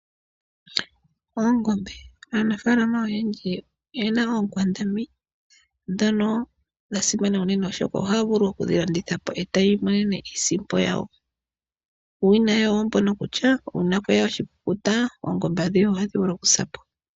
Oongombe aanafalama oyendji oyena oonkwandambi ndhono dha simana unene oshoka ohavulu okudhi landithapo eti imonene iisimpo yawo. Uuwinayi owo mbono kutya uuna kweya oshikukuta oongombe adhihe ohadhi vulu okusa po.